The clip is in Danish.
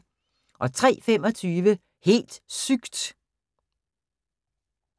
03:25: Helt sygt!